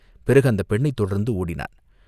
பிறகு அந்தப் பெண்ணைத் தொடர்ந்து ஓடினான்.